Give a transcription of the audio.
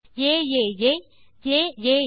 ஏஏஏ aaa